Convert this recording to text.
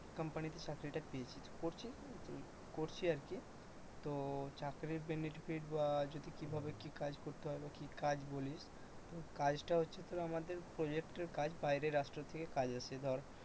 কোম্পানিতে চাকরিটা পেয়েছি করছি আর কি তো চাকরির benefit বা যদি কিভাবে কি কাজ করতে হয় বা কি কাজ বলিস তো কাজটা হচ্ছে তো আমাদের প্রজেক্ট এর কাজ বাইরের রাষ্ট্র থেকে কাজ আসে।